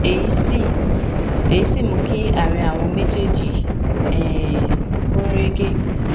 èyí sì èyí sì mú kí àárín àwọn méjèèjì um gún régé